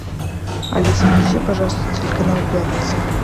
алиса включи пожалуйста телеканал пятница